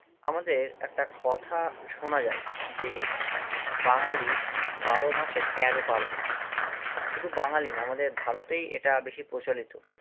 আমাদের একটা কথা শোনা যায়, যে বাঙালির বারো মাসে তেরো পার্বন শুধু বাঙালি না আমাদের ভারতেই এটা বেশি প্রচলিত